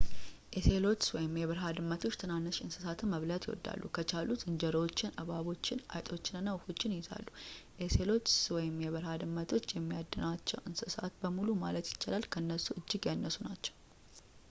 ኦሴሎትስ/የበረሃ ድመቶች ትናንሽ እንስሳትን መብላት ይወዳሉ። ከቻሉ ዝንጀሮዎችን ፣ እባቦችን ፣ አይጥና ወፎችን ይይዛሉ። ኦሴሎትስ/የበረሃ ድመቶች የሚያድናቸው እንስሳት በሙሉ ማለት ይቻላል ከእነሱ እጅግ ያነሱ ናቸው